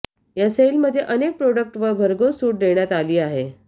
या सेलमध्ये अनेक प्रोडक्टवर भरघोस सूट देण्यात आली आहे